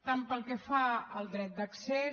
tant pel que fa al dret d’accés